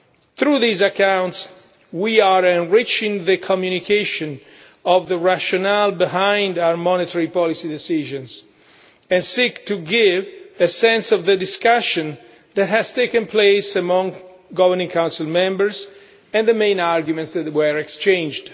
Through these accounts, we are enriching the communication of the rationale behind our monetary policy decisions and seek to give a sense of the discussion that has taken place among Governing Council members and the main arguments that were exchanged.